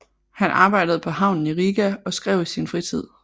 Han arbejdede på havnen i Riga og skrev i sin fritid